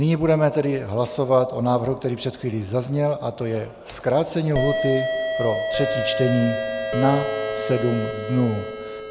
Nyní budeme tedy hlasovat o návrhu, který před chvílí zazněl, a to je zkrácení lhůty pro třetí čtení na sedm dnů.